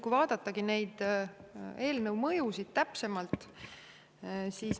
Vaatame neid eelnõu mõjusid täpsemalt.